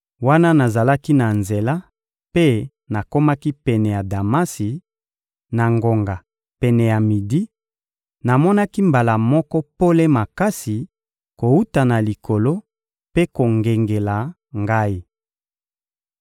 Wana nazalaki na nzela mpe nakomaki pene ya Damasi, na ngonga pene ya midi, namonaki mbala moko pole makasi kowuta na Likolo mpe kongengela ngai.